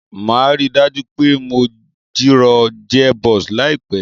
Màá ríi dájú pé mo jìrọ̀ gearbox láìpẹ̀